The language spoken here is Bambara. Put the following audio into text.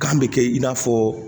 Kan be kɛ i n'a fɔ